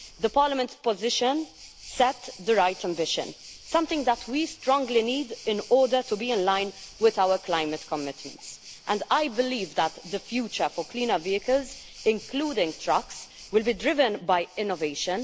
Parliament's position set the right ambition, something that we strongly need in order to be in line with our climate commitments, and I believe that the future for cleaner vehicles, including trucks, will be driven by innovation.